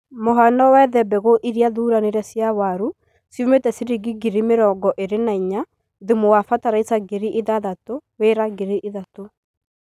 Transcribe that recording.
Mũhano wethe Mbegũ iria thuranire cia waru ciume chiringi ngiri mĩrongo ĩri na inya, Thumu wa fertiliser ngiri ithathatũ, Wira ngiri ithatũ